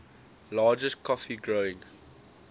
largest coffee growing